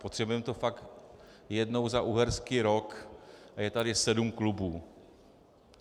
Potřebujeme to fakt jednou za uherský rok a je tady sedm klubů.